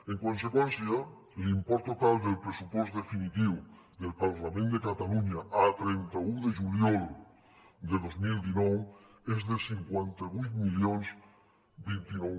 en conseqüència l’import total del pressupost definitiu del parlament de catalunya a trenta un de juliol de dos mil dinou és de cinquanta vuit mil vint nou